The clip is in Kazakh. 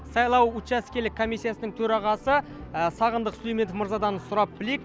сайлау учаскелік комиссияның төрағасы сағындық сүлейменов мырзадан сұрап білейік